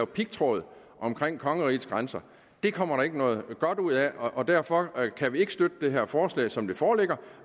pigtråd omkring kongerigets grænser kommer der ikke noget godt ud af og derfor kan vi ikke støtte det her forslag som det foreligger